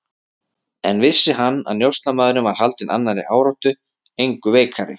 En vissi hann, að njósnarmaðurinn var haldinn annarri áráttu, engu veikari?